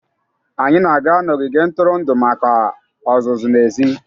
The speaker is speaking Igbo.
Anyị na-aga n'ogige ntụrụndụ maka ọzụzụ n'èzí.